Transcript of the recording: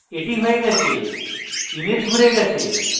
the হয়ে গেছে image ঘুরে গেছে